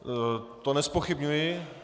To nezpochybňuji.